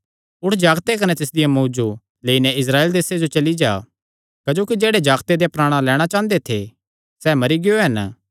उठ जागते कने तिसदिया मांऊ जो लेई नैं इस्राएल देसे जो चली जा क्जोकि जेह्ड़े जागते देयां प्राणा लैणां चांह़दे थे सैह़ मरी गियो हन